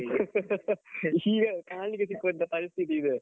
ಈಗ ಕಾಣಲಿಕ್ಕೇ ಸಿಗುವ ಅಂತ ಪರಿಸ್ಥಿತಿ ಇದು.